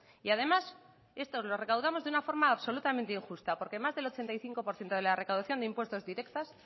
y además esto lo recaudamos de una forma absolutamente injusta porque más del ochenta y cinco por ciento de la recaudación de impuestos directos